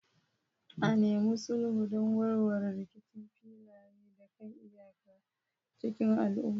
A nemi sulhu don warware rikicin filaye da kan iyaka cikin lumana.